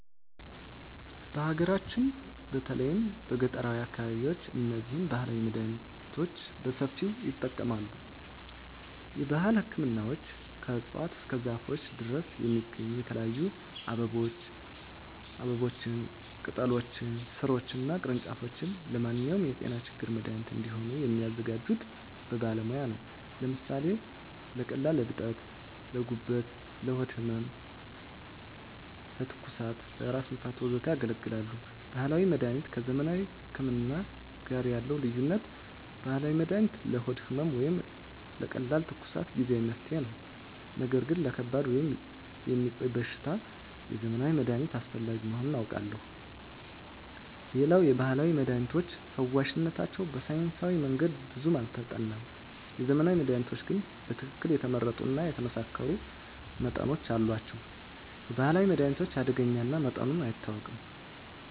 በሀገራችን በተለይም በገጠራዊ አካባቢዎች እነዚህን ባህላዊ መድሃኒቶች በሰፊው ይጠቀማሉ። የባህል ህክምናዎች ከእፅዋት እስከ ዛፎች ድረስ የሚገኙ የተለያዩ አበቦችን፣ ቅጠሎችን፣ ሥሮችን እና ቅርንጫፎች ለማንኛውም የጤና ችግር መድሃኒት እንዲሆኑ የሚያዘጋጁት በባለሙያ ነው። ለምሳሌ ለቀላል እብጠቶች: ለጉበት፣ ለሆድ ህመም፣ ለትኩሳት፣ ለራስ ህመም፣ ወዘተ ያገለግላሉ። ባህላዊ መድሀኒት ከዘመናዊ ህክምና ጋር ያለው ልዩነት፦ ባህላዊ መድሃኒት ለሆድ ህመም ወይም ለቀላል ትኩሳት ጊዜአዊ መፍትሄ ነው። ነገር ግን ለከባድ ወይም የሚቆይ በሽታ የዘመናዊ መድሃኒት አስፈላጊ መሆኑን አውቃለሁ። ሌላው የባህላዊ መድሃኒቶች ፈዋሽነታቸው በሳይንሳዊ መንገድ ብዙም አልተጠናም። የዘመናዊ መድሃኒቶች ግን በትክክል የተመረጡ እና የተመሳከሩ መጠኖች አሏቸው። የባህላዊ መድሃኒት አደገኛ እና መጠኑ አይታወቅም።